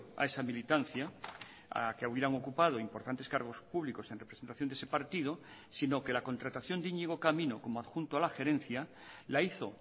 a esa militancia a que hubieran ocupado importantes cargos públicos en representación de ese partido sino que la contratación de iñigo camino como adjunto a la gerencia la hizo